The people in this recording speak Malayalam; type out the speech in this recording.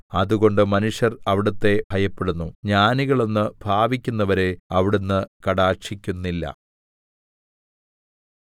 അതുകൊണ്ട് മനുഷ്യർ അവിടുത്തെ ഭയപ്പെടുന്നു ജ്ഞാനികളെന്ന് ഭാവിക്കുന്നവരെ അവിടുന്ന് കടാക്ഷിക്കുന്നില്ല